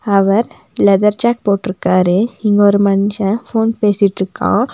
அவர் leather jacket போட்ருக்காரு இங்க ஒரு மனுஷன் ஃபோன் பேசிட்டிருக்கான்.